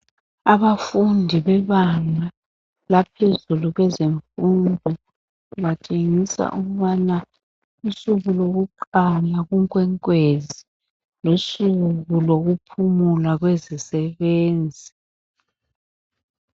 Abafundi bebanga laphezulu kwezemfundo batshengisa ukubana usuku lokuqala kunkwenkwezi lusuku lokuphumula kwezisebenzi.